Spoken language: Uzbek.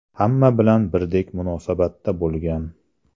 Hamma bilan birdek munosabatda bo‘lgan.